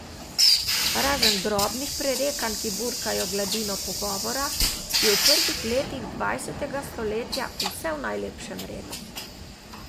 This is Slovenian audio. Razen drobnih prerekanj, ki burkajo gladino pogovora, je v prvih letih dvajsetega stoletja vse v najlepšem redu.